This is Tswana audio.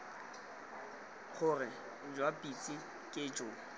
gore jwa pitse ke jo